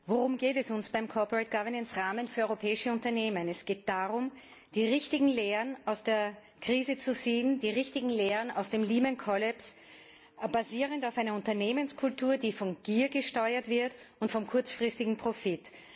Worum geht es uns beim Rahmen für europäische Unternehmen? Es geht darum, die richtigen Lehren aus der Krise, die richtigen Lehren aus dem Lehman Kollaps zu ziehen, basierend auf einer Unternehmenskultur, die von Gier gesteuert wird und vom kurzfristigen Profit